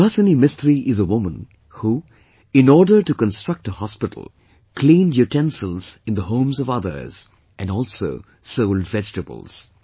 Subhasini Mistri is a woman who, in order to construct a hospital, cleaned utensils in the homes of others and also sold vegetables